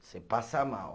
Você passa mal.